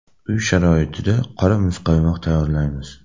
Uy sharoitida qora muzqaymoq tayyorlaymiz.